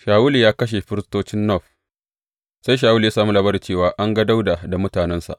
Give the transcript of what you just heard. Shawulu ya kashe firistocin Nob Sai Shawulu ya sami labari cewa an ga Dawuda da mutanensa.